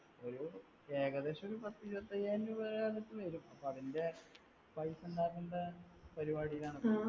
ഏകദേശമൊരു പത്തുഇരുപത്തിയായിരം രൂപയുടെ അടുത്ത് വരും. അപ്പൊ അതിന്റെ പൈസ ഉണ്ടാക്കണ്ട പരിപാടിയിലാണ് ഇപ്പൊ